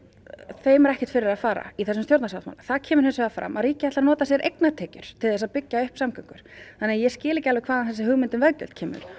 þeim er ekkert fyrir að fara í þessum stjórnarsáttmála þar kemur hins vegar fram að ríkið ætlar að nota sér eignatekjur til þess að byggja upp samgöngur þannig að ég skil ekki alveg hvaðan þessi hugmynd um veggjöld kemur